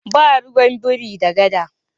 Ba ruwan biri da gada.